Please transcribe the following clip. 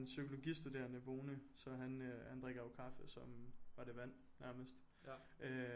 En psykologistuderende boende så han han drikker jo kaffe som var det vand nærmest øh